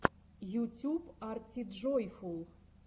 ютюб артиджойфул